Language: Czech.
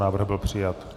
Návrh byl přijat.